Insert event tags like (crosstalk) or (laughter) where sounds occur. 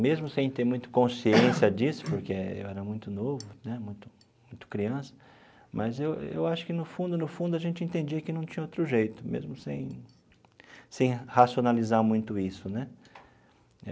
Mesmo sem ter muita consciência (coughs) disso, porque eu era muito novo né, muito muito criança, mas eu eu acho que, no fundo no fundo, a gente entendia que não tinha outro jeito, mesmo sem sem racionalizar muito isso né.